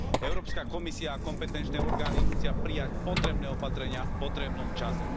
Európska komisia a kompetenčné orgány musia prijať potrebné opatrenia v potrebnom čase.